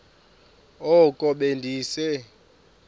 oko be ndise